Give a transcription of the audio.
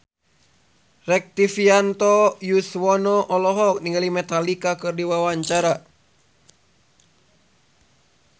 Rektivianto Yoewono olohok ningali Metallica keur diwawancara